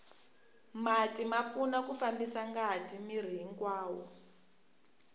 mati ma pfuna ku fambisa ngati miri hinkwawo